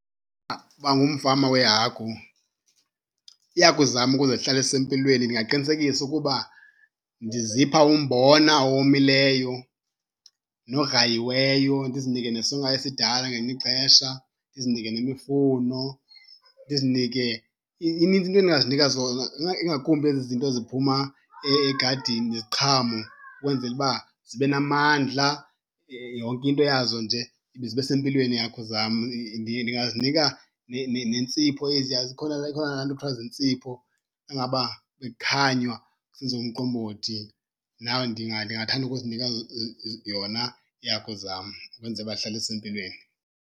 Uba ngumfama weehagu, iihagu zam ukuze zihlale zisempilweni ndingaqinisekisa ukuba ndizipha umbona owomileyo nograyiweyo, ndizinike nesonka esidala ngelinye ixesha, ndizinike nemifuno, ndizinike, inintsi into endingazinika zona ingakumbi ezi zinto ziphuma egadini iziqhamo, ukwenzela uba zibe namandla, yonke into yazo nje zibe sempilweni iihagu zam. Ndingazinika neentsipho eziya. Zikhona, ikhona laa nto kuthiwa ziintsipho xa ngaba bekukhanywa kusenziwa umqombothi. Now ndingathanda ukuzinika yona iihagu zam kwenzela uba zihlale zisempilweni.